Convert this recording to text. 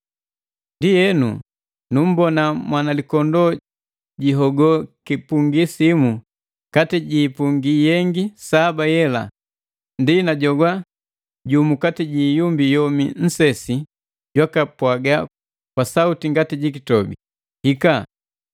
Ndienu, nummbona Mwanalikondoo jihogo kipungi simu kati ji ipungi yengi saba yela. Ndi najogwa jumu kati ji iumbi yomi nnsesi jwaka pwaga kwa sauti ngati ji kitobi, “Hika!”